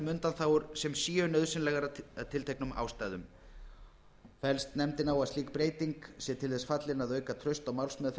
undanþágur sem séu nauðsynlegar af tilteknum ástæðum fellst nefndin á að slík breyting sé til þess fallin að auka traust á málsmeðferð